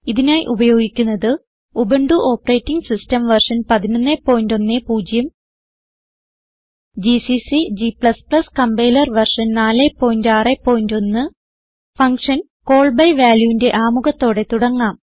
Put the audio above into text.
ഇതിനായി ഉപയോഗിക്കുന്നത് Ubuntu operating system version 1110 GCC g compiler version 461 function call by valueന്റെ ആമുഖത്തോടെ തുടങ്ങാം